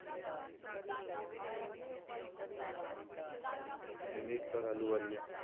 Nimrat Kaur Ahluwalia.